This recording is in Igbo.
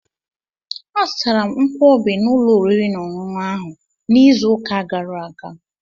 Azụtara m Nkwobi n'ụlọ oriri na ọṅụṅụ ahụ n'izu ụka gara aga.